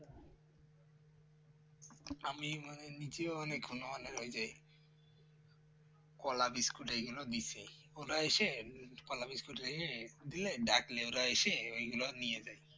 আমি মানে নিজেও অনেক হনুমানে ওইযে কলা বিস্কুট এইগুলো দিয়েছে ওরা এসে কলা বিস্কুট রেখে দিয়ে ডাকলে ওরা এসে ওগুলো নিয়ে যায়